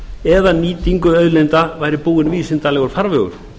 eða nýtingu auðlinda væri búinn vísindalegur farvegur